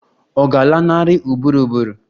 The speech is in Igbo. Ọ̀ ga-alanarị ụbụrụ ụbụrụ?